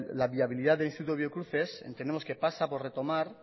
la viabilidad del instituto biocruces entendemos que pasa por retomar